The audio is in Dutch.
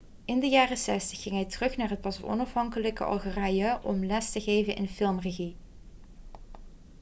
in de jaren 60 ging hij terug naar het pas onafhankelijke algerije om les te geven in filmregie